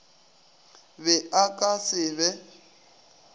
be a ka se be